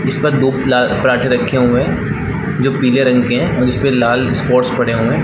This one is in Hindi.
जिस पर दो पल पराठे रखे हुए है जो पिले रंग के है और इसपे लाल स्पाउस पड़े हुए है।